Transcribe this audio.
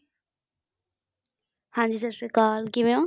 ਹਾਂ ਜੀ ਸਤਿ ਸ਼੍ਰੀ ਅਕਾਲ ਕਿਵੇਂ ਹੋ